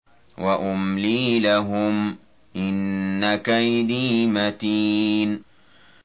وَأُمْلِي لَهُمْ ۚ إِنَّ كَيْدِي مَتِينٌ